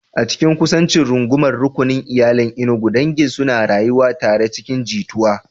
A cikin kusancin rungumar rukunin iyali a Enugu, dangi suna rayuwa tare cikin jituwa.